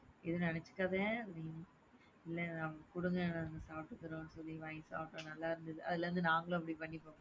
ஏதும் நினச்சுக்காத இல்ல குடுங்க சாப்டுக்குறோம்னு சொல்லி வாங்கி சாப்டோம். நல்லாயிருந்தது. அதுல அப்டியே நாங்களும் பண்ணி,